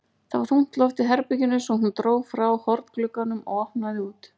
Það var þungt loft í herberginu svo hún dró frá hornglugganum og opnaði út.